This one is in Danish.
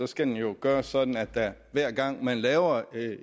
skal det jo gøres sådan at man hver gang man tager